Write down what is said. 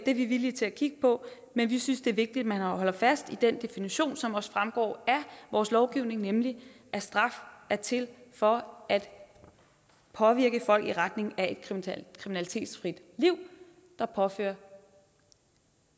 er vi villige til at kigge på men vi synes det er vigtigt at man holder fast i den definition som også fremgår af vores lovgivning nemlig at straf er til for at påvirke folk i retning af et kriminalitetsfrit liv der påfører